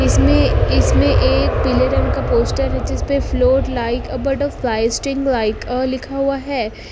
इसमें इसमें एक पीले रंग का पोस्टर है जिस पे float like a butterfly sting like a लिखा हुआ है।